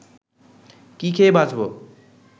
কি খেয়ে বাঁচব